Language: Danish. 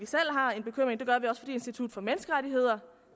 institut for menneskerettigheder